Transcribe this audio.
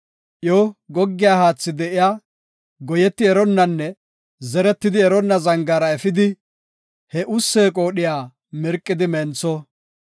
Iyo goggiya haathi de7iya goyetidi eronnanne zeretidi eronna zangaara efidi, he ussee qoodhiya mirqidi mentho.